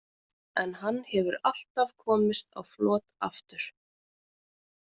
En hann hefur alltaf komist á flot aftur.